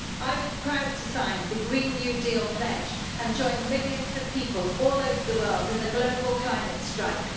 I was proud to sign the Green New Deal pledge and join millions of people all over the world in the global climate strike.